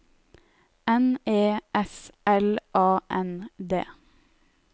N E S L A N D